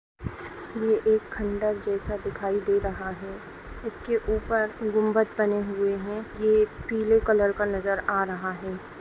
ये एक खंडर जेसे दिखाई दे रहा है इसके ऊपर गुम्बज बने हुए है ये एक पीले कलर का नजर आ रहा है।